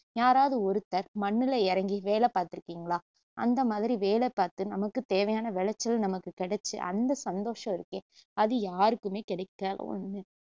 யாராவது ஒருத்தர் மண்ணுல இறங்கி வேல பாத்துருக்கிங்களா அந்த மாதிரி வேலை பாத்து நமக்கு தேவையான விளச்சல் நமக்கு கிடச்சு அந்த சந்தோஷம் இருக்கே அது யாருக்குமே கிடைக்காத ஒண்ணு